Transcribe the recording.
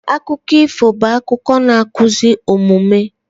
Akụkọ ifo bụ akụkọ na-akụzi omume